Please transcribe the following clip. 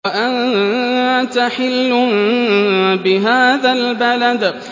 وَأَنتَ حِلٌّ بِهَٰذَا الْبَلَدِ